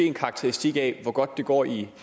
en karakteristik af hvor godt det går i